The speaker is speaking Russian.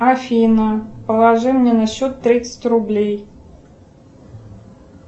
афина положи мне на счет тридцать рублей